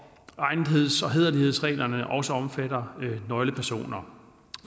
egnetheds og hæderlighedsreglerne også omfatter nøglepersoner